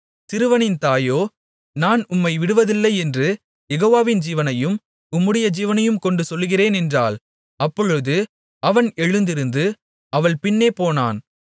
சிறுவனின் தாயோ நான் உம்மை விடுவதில்லை என்று யெகோவாவின் ஜீவனையும் உம்முடைய ஜீவனையும் கொண்டு சொல்லுகிறேன் என்றாள் அப்பொழுது அவன் எழுந்திருந்து அவள் பின்னே போனான்